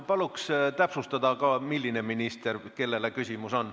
Paluks täpsustada ka, mis ministrile küsimus on.